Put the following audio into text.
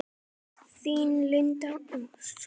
Þín, Linda Ósk.